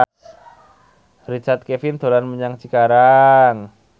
Richard Kevin dolan menyang Cikarang